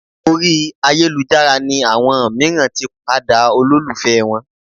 Orí ayélujára ni àwọn mìíràn tí padà olólùfẹ́ wọn